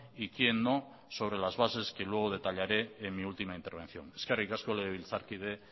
y quién no sobre las bases que luego detallaré en mi última intervención eskerrik asko legebiltzarkide